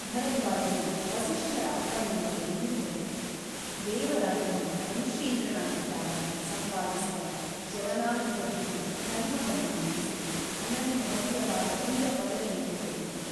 ಭರದ್ವಾಜರು ವಸಿಷ್ಠರ ಅಪ್ಪಣೆಯಂತೆ ನುಡಿದರು ದೇವರಾಜನು ಮನುಷ್ಯೇಂದ್ರನಾಗಿದ್ದಾಗ ಸಂಪಾದಿಸಿದ ಚ್ಯವನಾನುಗ್ರಹವು ಧರ್ಮವನ್ನು ಮಾಡಿಸಿ ಅನನ್ಯಭವ್ಯವಾದ ಇಂದ್ರಪದವಿಯನ್ನು ಕೊಟ್ಟಿತು.